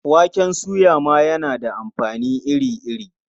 Waken soya ma yana da amfani iri-iri.